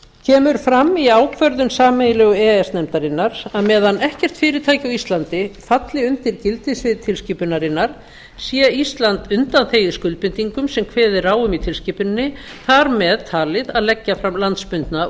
kemur fram í ákvörðun sameiginlegu e e s nefndarinnar að meðan ekkert fyrirtæki á íslandi falli undir gildissvið tilskipunarinnar sé ísland undanþegið skuldbindingum sem kveðið er á um í tilskipuninni þar með talið að leggja fram landsbundna úthlutunaráætlun